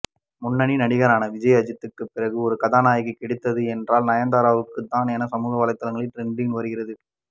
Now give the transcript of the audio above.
முன்னணி நடிகர்களான விஜய் அஜித்துக்கு பிறகு ஒரு கதாநாயகிக்கு கிடைத்தது என்றால் நயன்தாராவுக்கு தான் என சமூகவலைத்தளத்தில் ட்ரெண்டாகி வருகிறது